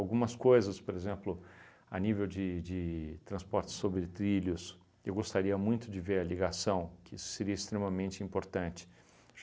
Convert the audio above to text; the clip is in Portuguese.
coisas, por exemplo, a nível de de transporte sobre trilhos, eu gostaria muito de ver a ligação, que seria extremamente importante.